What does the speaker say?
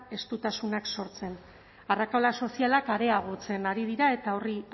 estutasunak sortzen arrakala sozialak areagotzen ari dira eta horri